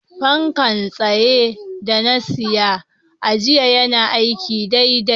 fanka tsaye da na siya a jaji yana aiki daidai.